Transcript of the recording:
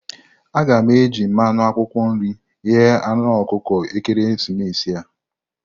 A ga-eji mmanụ akwụkwọ nri eghe anu ọkụkọ ekeresimesi a.